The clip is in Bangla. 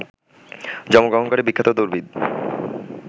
জন্মগ্রহণকারী বিখ্যাত দৌড়বিদ